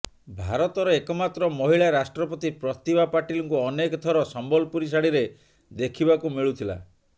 ଭାରତର ଏକମାତ୍ର ମହିଳା ରାଷ୍ଟ୍ରପତି ପ୍ରତିଭା ପାଟିଲଙ୍କୁ ଅନେକ ଥର ସମ୍ବଲପୁରୀ ଶାଢୀରେ ଦେଖିବାକୁ ମିଳୁଥିଲା